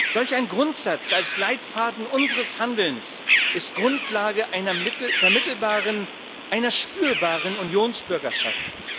Solch ein Grundsatz als Leitfaden unseres Handelns ist Grundlage einer vermittelbaren, einer spürbaren Unionsbürgerschaft.